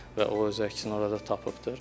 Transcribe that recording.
Və o öz əksini orada tapıbdır.